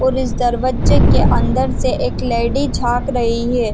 और इस दरवज़्ज़े के अंदर से एक लैडी झाक रही है ।